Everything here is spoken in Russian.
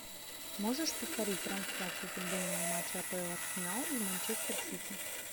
можешь повторить трансляцию футбольного матча апл арсенал и манчестер сити